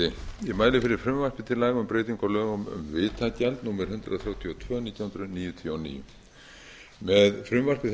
til laga um breytingu á lögum um vitamál númer hundrað þrjátíu og tvö nítján hundruð níutíu og níu með frumvarpi